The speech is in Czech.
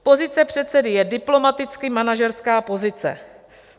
Pozice předsedy je diplomaticky manažerská pozice.